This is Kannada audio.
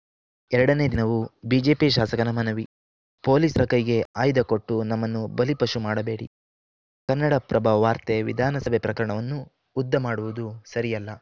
ಎರಡನೇ ದಿನವೂ ಬಿಜೆಪಿ ಶಾಸಕನ ಮನವಿ ಪೊಲೀಸರ ಕೈಗೆ ಆಯುಧ ಕೊಟ್ಟು ನಮ್ಮನ್ನು ಬಲಿಪಶು ಮಾಡಬೇಡಿ ಕನ್ನಡಪ್ರಭ ವಾರ್ತೆ ವಿಧಾನಸಭೆ ಪ್ರಕರಣವನ್ನು ಉದ್ದ ಮಾಡುವುದು ಸರಿಯಲ್ಲ